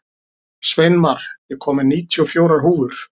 Sveinmar, ég kom með níutíu og fjórar húfur!